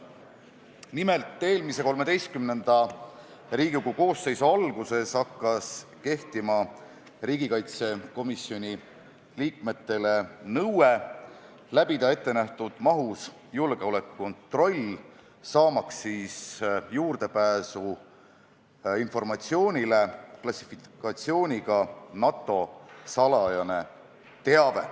Nimelt, eelmise, XIII Riigikogu koosseisu alguses hakkas riigikaitsekomisjoni liikmetele kehtima nõue läbida ettenähtud mahus julgeolekukontroll, et saada juurdepääs informatsioonile klassifikatsiooniga "NATO salajane teave".